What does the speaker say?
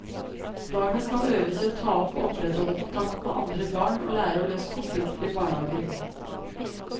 Barnet skal øves i å ta og opprettholde kontakt med andre barn og lære å løse konflikter i barnehagen.